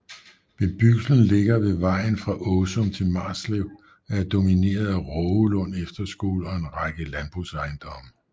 Bebyggelsen ligger ved vejen fra Åsum til Marslev og er domineret af Rågelund Efterskole og en række landbrugsejendomme